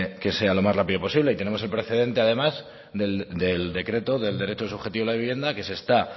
que sea lo más rápido posible y tenemos el precedente además del decreto del derecho subjetivo de la vivienda que se está